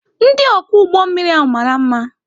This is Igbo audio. Ndị ọkwọ ụgbọ mmiri ahụ mara mma.